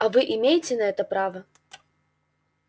а вы имеете на это право